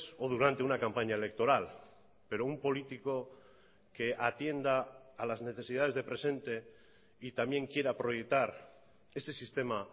o durante una campaña electoral pero un político que atienda a las necesidades de presente y también quiera proyectar ese sistema